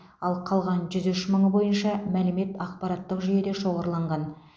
ал қалған жүз үш мыңы бойынша мәлімет ақпараттық жүйеде шоғырланған